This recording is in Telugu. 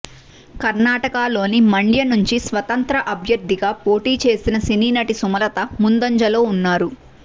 కర్ణాటకలోని మండ్య నుంచి స్వతంత్ర అభ్యర్థిగా పోటీ చేసిన సినీ నటి సుమలత ముందంజలో ఉన్నారు